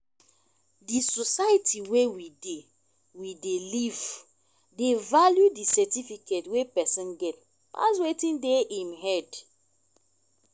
di society wey we dey we dey live dey value di certificate wey person get pass wetin dey im head